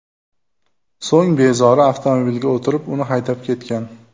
So‘ng bezori avtomobilga o‘tirib, uni haydab ketgan.